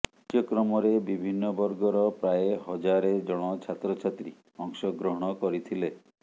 କାର୍ଯ୍ୟକ୍ରମରେ ବିଭିନ୍ନ ବର୍ଗର ପ୍ରାୟ ହଜାରେ ଜଣ ଛାତ୍ରଛାତ୍ରୀ ଅଂଶଗ୍ରହଣ କରିଥିଲେ